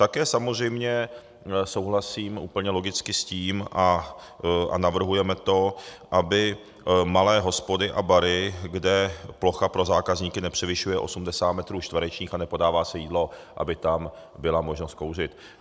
Také samozřejmě souhlasím úplně logicky s tím a navrhujeme to, aby malé hospody a bary, kde plocha pro zákazníky nepřevyšuje 80 metrů čtverečních a nepodává se jídlo, aby tam byla možnost kouřit.